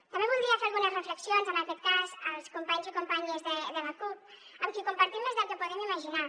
també voldria fer algunes reflexions en aquest cas als companys i companyes de la cup amb qui compartim més del que podem imaginar